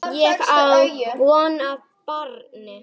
Ég á von á barni.